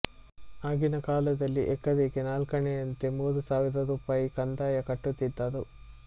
ಆಗಿನ ಕಾಲದಲ್ಲಿ ಎಕರೆಗೆ ನಾಲ್ಕಾಣೆಯಂತೆ ಮೂರು ಸಾವಿರ ರೂಪಾಯಿ ಕಂದಾಯ ಕಟ್ಟುತ್ತಿದ್ದರು